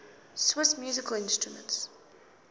swiss musical instruments